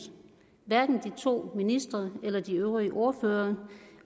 hverken de to ministre eller de øvrige ordførere